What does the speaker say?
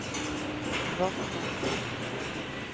Rottne